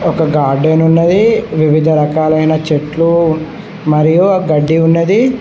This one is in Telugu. ఒక గార్డెన్ ఉన్నది వివిధ రకాలైన చెట్లు మరియు గడ్డి ఉన్నది.